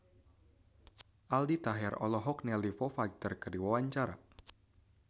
Aldi Taher olohok ningali Foo Fighter keur diwawancara